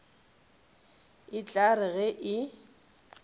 e tla re ge e